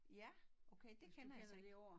Ja okay det kender jeg så ik